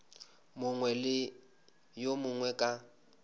mongwe le yo mongwe ka